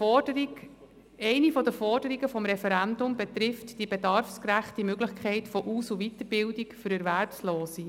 Eine der Forderungen des Referendums betrifft die bedarfsgerechte Möglichkeit von Aus- und Weiterbildung für Erwerbslose.